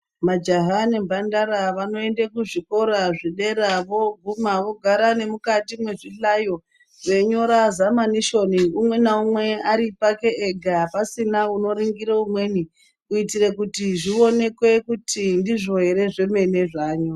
Majaha nemphandara vanoenda kuzvikora zvederavooguma vogara mukati mwechihlayo veinyora zamanishoni umwe naumwe ari pake ega, pasina unoringira umweni. Kuitira kuti zvionekwe kuti ndizvo here zvemene zvaanyora.